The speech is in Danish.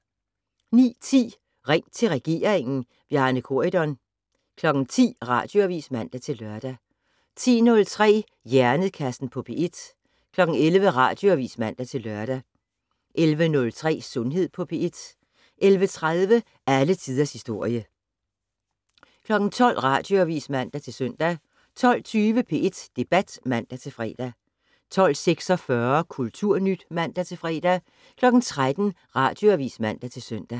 09:10: Ring til regeringen: Bjarne Corydon 10:00: Radioavis (man-lør) 10:03: Hjernekassen på P1 11:00: Radioavis (man-lør) 11:03: Sundhed på P1 11:30: Alle tiders historie 12:00: Radioavis (man-søn) 12:20: P1 Debat (man-fre) 12:46: Kulturnyt (man-fre) 13:00: Radioavis (man-søn)